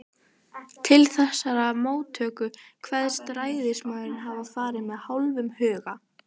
Til þessarar móttöku kveðst ræðismaðurinn hafa farið með hálfum huga.